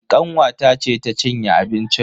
Kanwata ce ta cinye abincin.